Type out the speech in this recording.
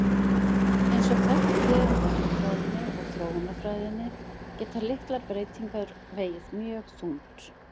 Og eins og þekkt er úr erfðafræðinni og þróunarfræðinni geta litlar breytingar vegið mjög þungt.